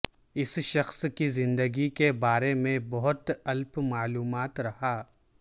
اس شخص کی زندگی کے بارے میں بہت الپ معلومات رہا